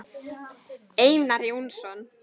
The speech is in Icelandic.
Einar Jónsson